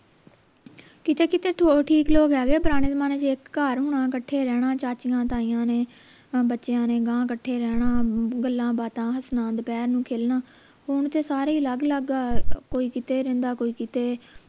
ਕਿਤੇ ਕੀਤੇ ਠੀਕ ਲੋਗ ਹੈਗੇ ਹੈ ਪੁਰਾਣੇ ਜਮਾਨੇ ਚੇ ਇਕ ਘਰ ਹੋਣਾ ਕੱਠੇ ਰਹਿਣਾ ਚਾਚਿਆਂ ਤਾਈਆਂ ਨੇ ਬੱਚਿਆਂ ਨੇ ਗਾਂਹ ਕੱਠੇ ਰਹਿਣਾ ਗੱਲਾਂ ਬਾਤਾਂ ਹੱਸਣਾ ਦੋਪਹਰ ਨੂੰ ਖੇਲਣਾ ਹੁਣ ਤੇ ਸਾਰੇ ਹੀ ਅਲੱਗ ਅਲਗ ਆ ਕੋਈ ਕਿਤੇ ਰਹਿੰਦਾ ਕੋਈ ਕਿਤੇ